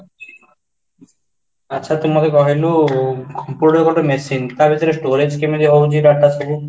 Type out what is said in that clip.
ଆଚ୍ଛା, ତୁ ମୋତେ କହିଲୁ computer ଗୋଟେ machine ତା ଭିତରେ storage କେମିତି ହଉଚି data ସବୁ?